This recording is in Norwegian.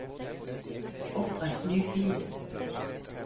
Opprett ny fil